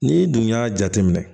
N'i dun y'a jateminɛ